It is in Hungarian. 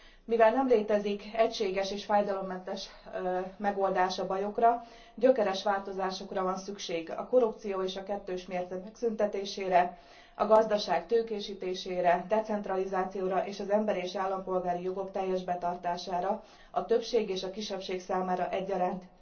Mivel nem létezik egységes és fájdalommentes megoldás a bajokra, gyökeres változásokra van szükség a korrupció és a kettős mérce megszüntetésére, a gazdaság tőkésítésére, decentralizációra és az emberi és állampolgári jogok teljes betartására a többség és a kisebbség számára egyaránt.